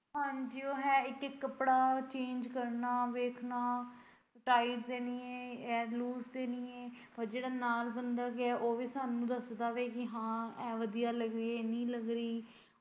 ਹਾਂਜੀ ਉਹ ਹੈ ਇੱਕ ਕੱਪੜਾ change ਕਰਨਾ ਵੇਖਣਾ tight ਤੇ ਨੀ ਐ loose ਤੇ ਨੀ ਐ ਔਰ ਜੇੜਾ ਨਾਲ ਬੰਦਾ ਗਿਆ ਉਹ ਵੀ ਸਾਨੂੰ ਦੱਸਦਾ ਵਾ ਕਿ ਏਹ ਆਹ ਵਧੀਆ ਲੱਗ ਰਹੀ ਏਹ ਨਹੀ।